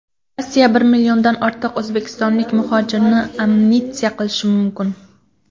Rossiya bir milliondan ortiq o‘zbekistonlik muhojirni amnistiya qilishi mumkin.